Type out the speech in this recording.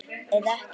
Eða ekki?